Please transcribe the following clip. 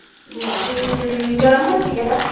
ਗਰਮ ਹੁੰਦੀਆਂ ।